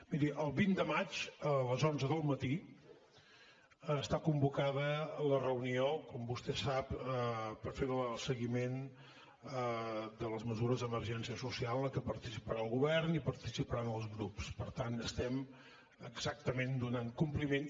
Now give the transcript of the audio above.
miri el vint de maig a les onze del matí està convocada la reunió com vostè sap per fer el seguiment de les mesures d’emergència social en què participarà el govern i participaran els grups per tant estem exactament donant hi compliment